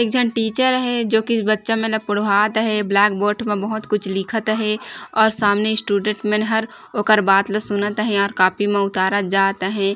एक झन टीचर हे जो कि बच्चा मन पढ़ात हे ब्लैक बोर्ड म बहुत कुछ लिखत हे और सामने स्टूडेंट मन हर ओकर बात ला सुनत हे और कॉपी में उतारत जात हे।